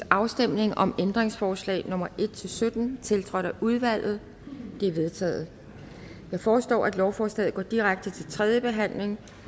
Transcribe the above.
afstemning om ændringsforslag nummer en sytten tiltrådt af udvalget de er vedtaget jeg foreslår at lovforslaget går direkte til tredje behandling